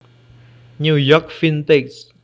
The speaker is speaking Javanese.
New York Vintage